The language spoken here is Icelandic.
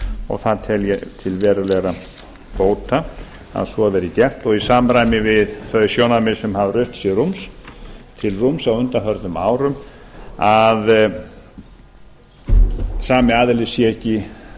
og það tel ég til verulegra bóta að svo verði gert og í samræmi við þau sjónarmið sem hafa rutt sér til rúms á undanförnum árum að sami aðili sé ekki